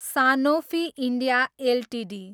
Sanofi India Ltd